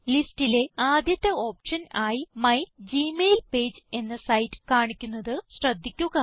ലിസ്റ്റിലെ ആദ്യത്തെ ഓപ്ഷൻ ആയി മൈഗ്മെയിൽപേജ് എന്ന സൈറ്റ് കാണിക്കുന്നത് ശ്രദ്ധിക്കുക